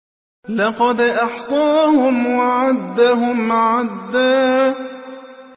لَّقَدْ أَحْصَاهُمْ وَعَدَّهُمْ عَدًّا